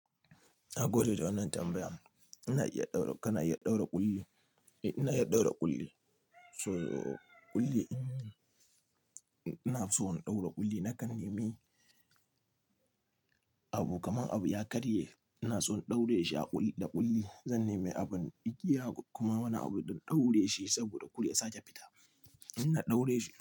Na gode da wannan tambayar. Ina iya ɗaura, kana iya ɗaura ƙulli. Eh ina iya ɗaura ƙulli. So ƙulli, ina so in ɗaura ƙulli nakan nemi abu kaman abu ya karye ina so in ɗaure shi a ƙulli da ƙulli. Zan nemi abun igiya kuma wani abu don ɗaure shi saboda ƙulli ya sake fita. Ina ɗaure shi.